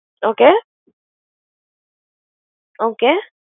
Okay, okay ।